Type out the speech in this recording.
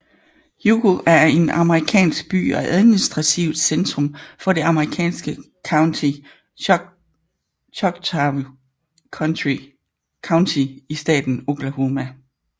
Hugo er en amerikansk by og administrativt centrum for det amerikanske county Choctaw County i staten Oklahoma